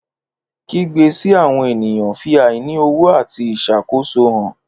Kígbe sí àwọn ènìyàn fi àìní ọ̀wọ̀ àti ìṣàkóso hàn.